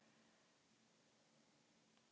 Veit ekki hver eða hvað ég er